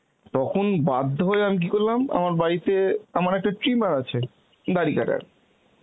তখন বাধ্য হয়ে আমি কি করলাম আমার বাড়িতে আমার একটা trimmer আছে দাড়ি কাটার